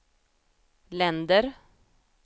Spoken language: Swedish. länder